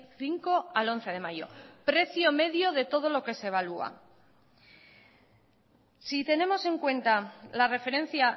cinco al once de mayo precio medio de todo lo que se evalúa si tenemos en cuenta la referencia